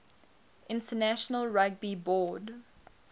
international rugby board